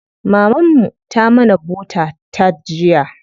Maman mu ta mana bota tart jiya.